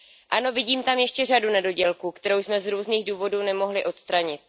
Ano, vidím tam ještě řadu nedodělků, které jsme z různých důvodů nemohli odstranit.